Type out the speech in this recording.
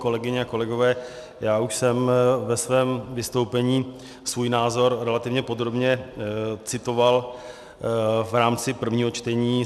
Kolegyně a kolegové, já už jsem ve svém vystoupení svůj názor relativně podrobně citoval v rámci prvního čtení.